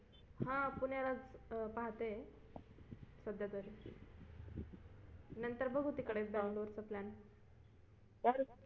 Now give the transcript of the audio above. हा पुण्यालाच पाहते सध्या तरी नंतर बघू तिकडेच चा plan